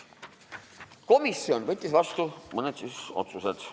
Komisjon võttis vastu mõned otsused.